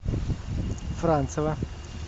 францева